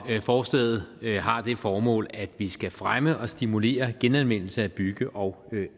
forslaget har det formål at vi skal fremme og stimulere genanvendelse af bygge og